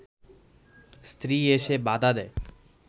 স্ত্রী এসে বাধা দেয়